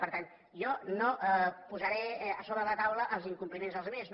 per tant jo no posaré a sobre de la taula els incompliments dels altres no